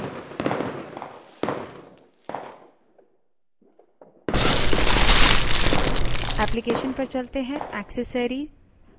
application> accessories> text editor पर जाएँ